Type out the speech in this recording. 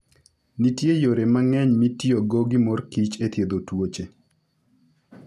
Nitie yore mang'eny mitiyogo gi mor kich e thiedho tuoche.